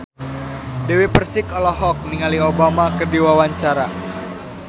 Dewi Persik olohok ningali Obama keur diwawancara